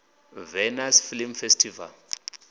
venice film festival